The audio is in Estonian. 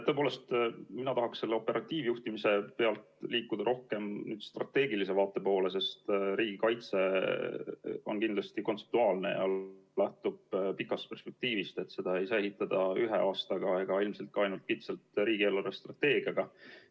Tõepoolest, mina tahaks selle operatiivjuhtimise pealt liikuda rohkem strateegilise vaate poole, sest riigikaitse on kindlasti kontseptuaalne ja lähtub pikast perspektiivist, seda ei saa ehitada ühe aastaga ega ilmselt ka ainult kitsalt riigi eelarvestrateegia abil.